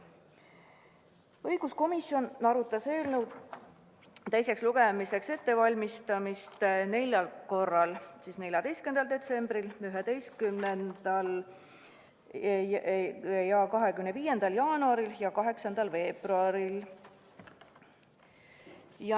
Õiguskomisjon arutas eelnõu teiseks lugemiseks ettevalmistamist neljal korral: 14. detsembril, 11. ja 25. jaanuaril ja 8. veebruaril.